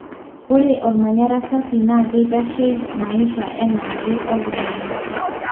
ore olmanyara safi na keitashei maisha enaake oltungana.